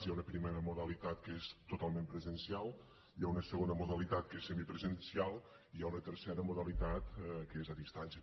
hi ha un primera modalitat que és totalment presencial hi ha una segona modalitat que és semipresencial i hi ha una tercera modalitat que és a distància